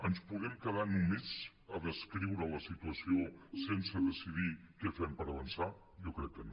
ens podem quedar només a descriure la situació sense decidir què fem per avançar jo crec que no